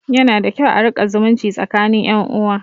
Yana da kyau a riƙa zumunci tsakinin ƴan uwa